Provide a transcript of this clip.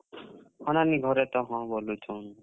ଘରେ ତ ହଁ ବୋଲୁଛନ୍।